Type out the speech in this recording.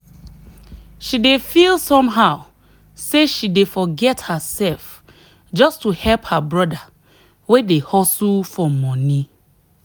she dey feel somehow say she dey forget herself just to help her brother wey dey hustle for money.